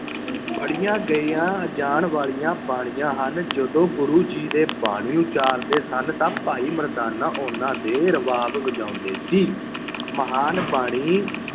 ਪੜੀਆਂ ਗਈਆਂ ਜਾਣ ਵਾਲੀਆਂ ਬਾਣੀਆਂ ਹਨ। ਜਦੋਂ ਗੁਰੂ ਜੀ ਦੇ ਬਾਣੀ ਉਚਾਰਦੇ ਸਨ ਤਾਂ ਭਾਈ ਮਰਦਾਨਾ ਉਹਨਾਂ ਦੇ ਰਬਾਬ ਵਜਾਉਂਦੇ ਸੀ। ਮਹਾਨ ਬਾਣੀ